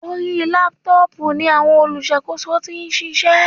Orí Laptop ni àwọn olùṣàkóso tí ń ṣiṣẹ́.